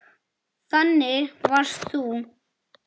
Þannig varst þú.